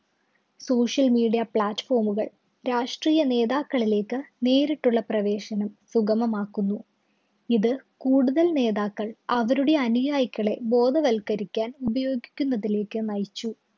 social media platform കള്‍ രാഷ്ട്രീയ നേതാക്കളിലേക്ക് നേരിട്ടുള്ള പ്രവേശനം സുഗമമാക്കുന്നു. ഇത് കൂടുതല്‍ നേതാക്കള്‍, അവരുടെ അനുയായികളെ ബോധവൽക്കരിക്കാൻ ഉപയോഗിക്കുന്നതിലേക്ക് നയിച്ചു.